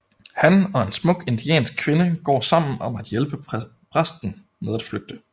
Han og en smuk indiansk kvinde går sammen om at hjælpe præsten med at flygte